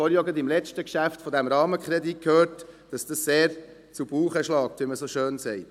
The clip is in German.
Wir haben dies auch schon beim letzten Geschäft, dem Rahmenkredit gehört, dass dies sehr zu Buche schlägt, wie man so schön sagt.